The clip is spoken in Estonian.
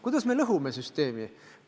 Kuidas me lõhume süsteemi?